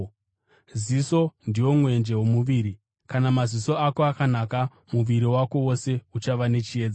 “Ziso ndiwo mwenje womuviri. Kana maziso ako akanaka, muviri wako wose uchava nechiedza.